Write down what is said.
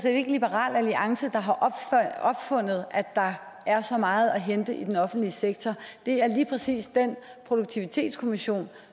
ikke liberal alliance der har opfundet at der er så meget at hente i den offentlige sektor det er lige præcis produktivitetskommissionen